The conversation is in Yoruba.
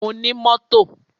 Mo ní mọ́tò.